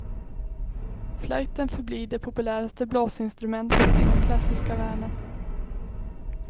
Flöjten förblir det populäraste blåsinstrumentet i den klassiska världen.